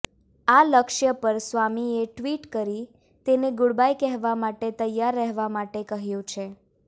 આ લક્ષ્ય પર સ્વામીએ ટ્વીટ કરી તેને ગુડબાય કહેવા માટે તૈયાર રહેવા માટે કહ્યું છે